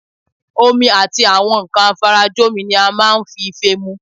Omi àti àwọn nǹkan afarajomi ni a máa ń fi ife mu